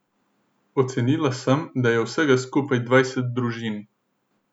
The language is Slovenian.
Ocenila sem, da je vsega skupaj dvajset družin.